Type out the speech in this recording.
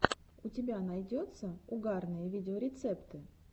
у тебя найдется угарные видеорецепты